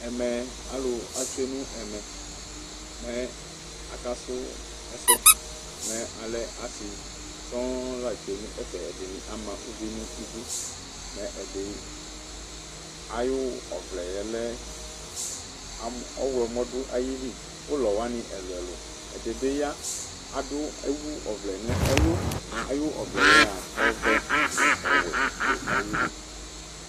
Ɛmɛ, aalʋ atsue nʋ ɛmɛ mɛ akasu ɛsɛ mɛ alɛ aasi sɔɔɔŋ la tsue' n'ɛfɛ, ɛɖini ama ʋvi n'iɖʋ, mɛ ɛɖi ayʋ ɔvlɛɛ lɛ ɔɣlɔmɔ ɖʋ ayili, k'ʋlɔ wani ɛlʋɛlʋƐɖibi yaa aɖʋ ɔvlɛa n'ɛlʋ ayu ɔvlɛa ɔvɛ nʋ ɔwuɛ ɖʋ ayili